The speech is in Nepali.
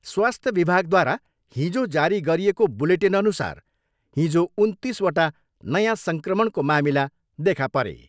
स्वास्थ्य विभागद्वारा हिजो जारी गरिएको बुलेटिनअनुसार हिजो उन्तिसवटा नयाँ सङ्क्रमणको मामिला देखा परे।